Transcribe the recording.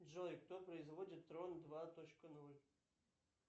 джой кто производит трон два точка ноль